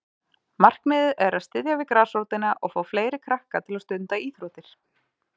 Markmiðið er að styðja við grasrótina og fá fleiri krakka til að stunda íþróttir.